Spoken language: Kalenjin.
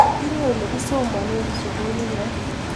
Tinyei olegisomane sugulinyo